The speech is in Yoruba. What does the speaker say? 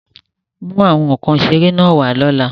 Mú àwọn nkan ìṣeré náà wá lọ́la!